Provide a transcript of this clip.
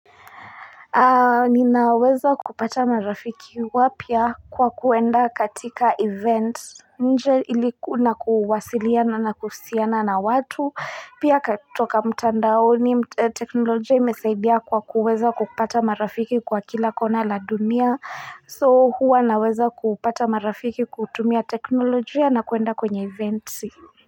Ninaweza kupata marafiki wapya kwa kuenda katika event nje na kuwasiliana na kusiana na watu pia katoka mtandaoni teknolojia imesaidia kwa kuweza kupata marafiki kwa kila kona la dunia so huwa naweza kupata marafiki kutumia teknolojia na kuenda kwenye event.